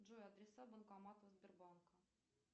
джой адреса банкоматов сбербанка